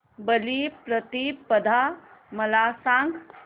बलिप्रतिपदा मला सांग